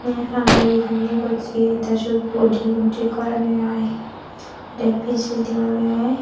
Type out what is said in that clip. hn hala yegani yegoseh teh sot bodygun tik gorne i de pejedi ole.